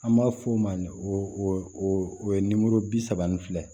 An b'a f'o ma o ye bi saba ni fila ye